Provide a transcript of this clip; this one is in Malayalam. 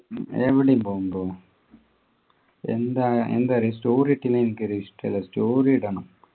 എവിടേം പോകും തോന്നു എന്തായാ എന്ത് പറയാ story ഇട്ടില്ലേ എനിക്കൊരു ഇഷ്ടല്ല story ഇടണം